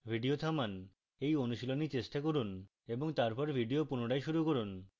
video থামান এই অনুশীলনী চেষ্টা করুন এবং তারপর video পুনরায় শুরু করুন